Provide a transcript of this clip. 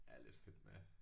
Er lidt fedt med